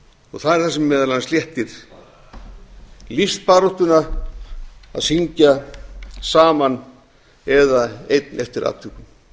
og það er það sem meðal annars léttir lífsbaráttuna að syngja saman eða einn eftir atvikum þess